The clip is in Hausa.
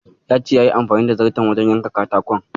Ya ce yayi amfani da zarto wajen yanka katakon.